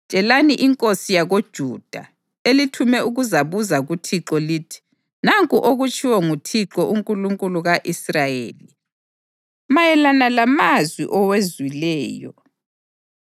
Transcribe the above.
Tshelani inkosi yakoJuda, elithume ukuzabuza kuThixo lithi: ‘Nanku okutshiwo nguThixo, uNkulunkulu ka-Israyeli, mayelana lamazwi owezwileyo: